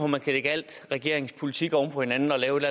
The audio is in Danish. man kan lægge alle regeringens politikker oven på hinanden og lave et